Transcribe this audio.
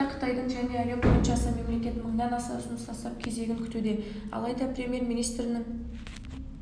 уақытта қытайдың және әлем бойынша аса мемлекет мыңнан аса ұсыныс тастап кезегін күтуде алайда премьер-министрінің